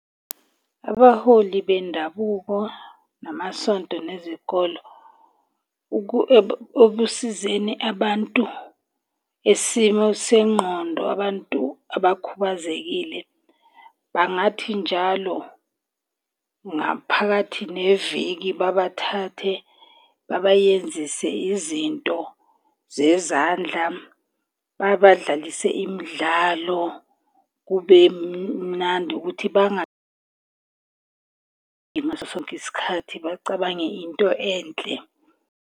Abaholi bendabuko namasonto nezikolo ekusizeni abantu, isimo sengqondo, abantu abakhubazekile. Bangathi njalo ngaphakathi neviki babathathe, babayenzise izinto zezandla. Babadlalise imidlalo kube mnandi ukuthi ngaso sonke isikhathi bacabange into enhle.